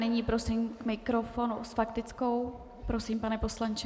Nyní prosím k mikrofonu s faktickou - prosím, pane poslanče.